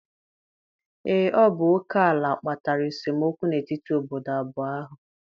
Ee, ọ bụ oke ala kpatara esemokwu n'etiti obodo abụọ ahụ.